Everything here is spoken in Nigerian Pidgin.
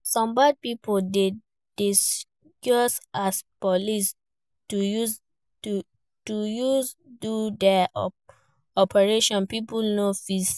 Some bad pipo de disguise as police to use do their operation pipo no feel safe